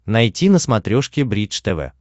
найти на смотрешке бридж тв